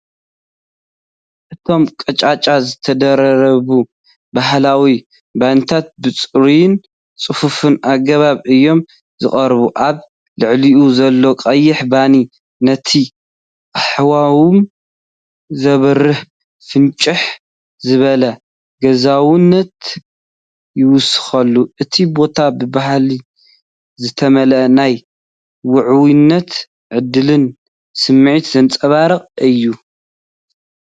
እቶም ቀጫጩ ዝተደራረቡ ባህላዊ ባኒታት፡ ብጽሩይን ጽፉፍን ኣገባብ እዮም ዝቐርቡ። ኣብ ልዕሊኡ ዘሎ ቀይሕ ባኒ ነቲ ሃዋህው ዘብርህ ፍንጭሕ ዝበለ ገዛውነት ይውስኸሉ። እቲ ቦታ ብባህሊ ዝተመልአ ናይ ውዑይነትን ዕድልን ስምዒት ዘንጸባርቕ እዩ።